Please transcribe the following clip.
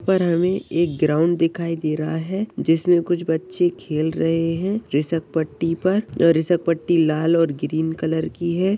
पर हमे एक ग्राउन्ड दिखाई दे रहा है जिसमे कुछ बच्चे खेल रहे है रिसप पट्टी पर और रिसप पट्टी लाल और ग्रीन कलर की है।